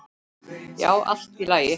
Já, allt í lagi.